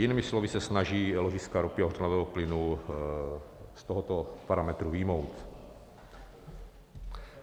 Jinými slovy se snaží ložiska ropy a hořlavého plynu z tohoto parametru vyjmout.